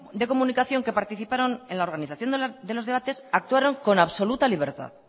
de comunicación que participaron en la organización de los debates actuaron con absoluta libertad